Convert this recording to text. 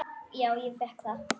Já, ég fékk það.